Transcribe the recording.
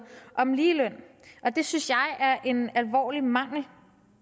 om ligeløn det synes jeg er en alvorlig mangel